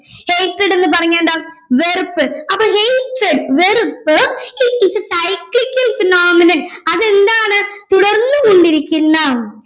hatred എന്ന് പറഞ്ഞാൽ എന്താ വെറുപ്പ് അപ്പൊ hatred വെറുപ്പ് it is a cyclical phenomenon അതെന്താണ് തുടർന്ന് കൊണ്ടിരിക്കുന്ന